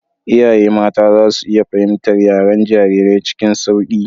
Iyaye mata za su iya fahimtar yaren jarirai cikin sauƙi.